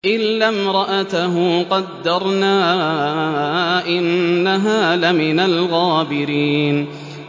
إِلَّا امْرَأَتَهُ قَدَّرْنَا ۙ إِنَّهَا لَمِنَ الْغَابِرِينَ